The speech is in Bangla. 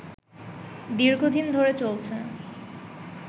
দীর্ঘদিন ধরে চলছে